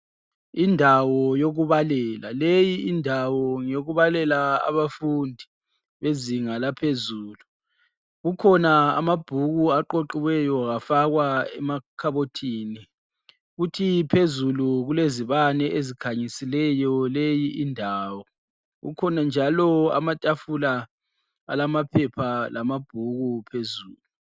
Indawo yokubalela, leyi indawo ngeyokubalela abafundi bezinga laphezulu. Kukhona amabhuku aqoqiweyo afakwa emakhabothini kuthi phezulu kulezibane ezikhanyisileyo leyi indawo. Kukhona njalo amatafula alamaphepha lamabhuku phezulu.